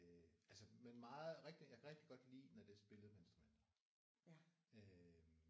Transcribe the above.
Men meget rigtig jeg kan rigtig godt lide når det er spillet med instrumenter